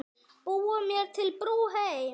Búa mér til brú heim.